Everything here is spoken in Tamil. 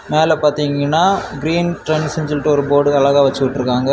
மேல பாத்தீங்கன்னா கிரீன் ட்ரெண்ட்ஸ்னு சொல்லிட்டு ஒரு போர்டு அழகா வச்சிருக்காங்க.